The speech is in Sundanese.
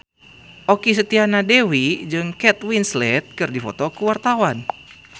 Okky Setiana Dewi jeung Kate Winslet keur dipoto ku wartawan